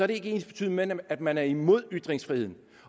ikke ensbetydende med at man er imod ytringsfriheden